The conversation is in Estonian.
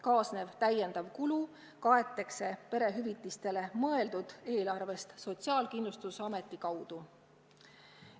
Kaasnev täiendav kulu kaetakse perehüvitisteks mõeldud eelarvest Sotsiaalkindlustusameti kaudu.